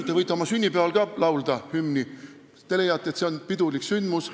" Te võite oma sünnipäeval ka hümni laulda, kui te leiate, et see on pidulik sündmus.